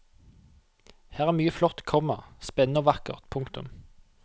Her er mye flott, komma spennende og vakkert. punktum